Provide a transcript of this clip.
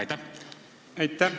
Aitäh!